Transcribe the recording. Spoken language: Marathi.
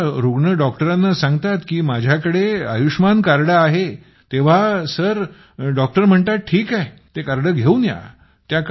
जेव्हा रूग्ण डॉक्टरला सांगतात की माझ्याकडे कार्ड आहे तेव्हा सर डॉक्टर म्हणतात ठीक आहे ते कार्ड घेऊन या